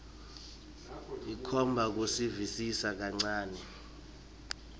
ikhomba kusivisisa kancane